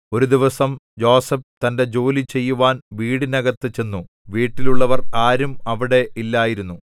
ഒരു ദിവസം യോസേഫ് തന്റെ ജോലി ചെയ്യുവാൻ വീടിനകത്തു ചെന്നു വീട്ടിലുള്ളവർ ആരും അവിടെ ഇല്ലായിരുന്നു